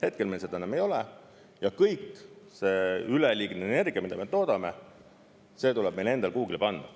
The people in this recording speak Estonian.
Hetkel meil seda enam ei ole ja kõik see üleliigne energia, mida me toodame, see tuleb meil endal kuhugi panna.